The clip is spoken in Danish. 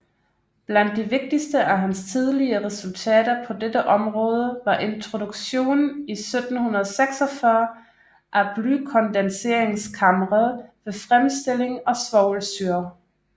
Blandt de vigtigste af hans tidlige resultater på dette område var introduktionen i 1746 af blykondenseringskamre ved fremstilling af svovlsyre